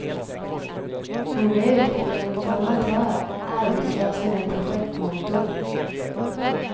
Hon är utbildad informatör, arbetslös och nu projektmotor.